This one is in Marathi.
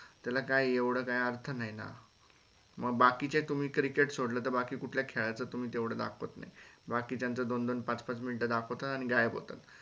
त्याला काय एवढ काय अर्थ नाई ना म बाकीचे तुम्ही cricket सोडलं त बाकी कुठल्या खेळाच तुम्ही तेवढ दाखवत नाही बाकीच्यांचं दोन दोन पाच पाच minute दाखवता आणि गायब होतात.